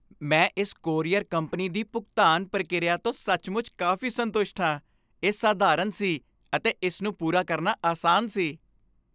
ਮੈਂ ਇਸ courier company ਦੀ ਭੁਗਤਾਨ ਪ੍ਰਕਿਰਿਆ ਤੋਂ ਸੱਚਮੁੱਚ ਕਾਫ਼ੀ ਸੰਤੁਸ਼ਟ ਹਾਂ। ਇਹ ਸਧਾਰਨ ਸੀ ਅਤੇ ਇਸ ਨੂੰ ਪੂਰਾ ਕਰਨਾ ਆਸਾਨ ਸੀ।